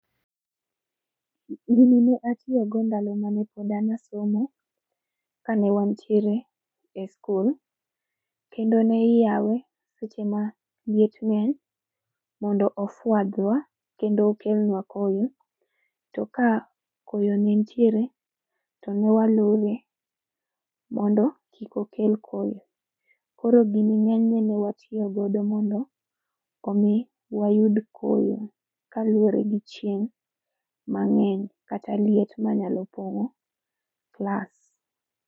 Gini ne atiyogo ndalo ma nepod an asomo, kane wantiere e skul. Kendo ne iyawe seche ma liet ng'eny, mondo ofwadhwa kendo okelnwa koyo, to ka koyo ni nitiere to newalore mondo kik okel koyo. Koro gini ng'enyne newatiyo godo mondo, omi wayud koyo kaluwore gi chieng' mang'eny kata liet manyalo pong'o klas